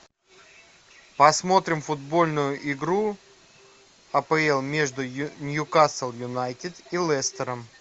посмотрим футбольную игру апл между ньюкасл юнайтед и лестером